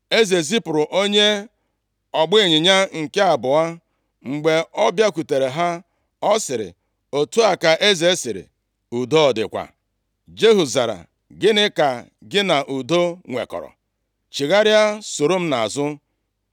Eze zipụrụ onye ọgbaịnyịnya nke abụọ. Mgbe ọ bịakwutere ha ọ sịrị, “Otu a ka eze sịrị, ‘Udo ọ dịkwa?’ ” Jehu zara, “Gịnị ka gị na udo nwekọrọ? Chigharịa soro m nʼazụ.”